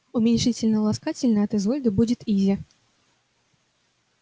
уменьшительно-ласкательно от изольды будет изя